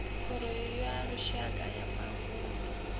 khoro ya lushaka ya mavunḓu